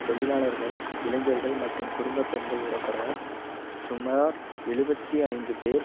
தொழிலாளர்கள் இளைஞர்கள் மற்றும் குடும்ப பெண்கள் உடபட சுமார் எழுபத்து ஐந்து பேர்